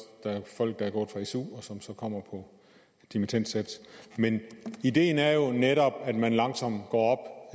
folk der er gået fra su og som så kommer på dimittendsats men ideen er jo netop at man langsomt går